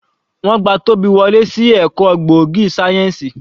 Wọ́n gba Tobi wọlé sí ẹ̀kọ́ gbòógì sáyẹ́ǹsì.